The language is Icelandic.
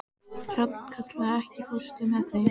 Hrafnkatla, ekki fórstu með þeim?